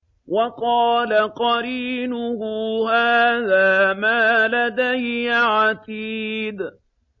وَقَالَ قَرِينُهُ هَٰذَا مَا لَدَيَّ عَتِيدٌ